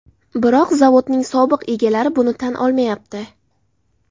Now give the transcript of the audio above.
Biroq zavodning sobiq egalari buni tan olmayapti.